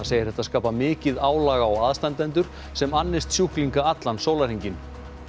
segir þetta skapa mikið álag á aðstandendur sem annist sjúklinga allan sólarhringinn